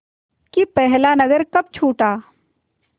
कि पहला नगर कब छूटा